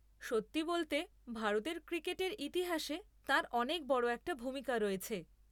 সত্যি বলতে, ভারতের ক্রিকেটের ইতিহাসে তাঁর অনেক বড় একটা ভূমিকা রয়েছে।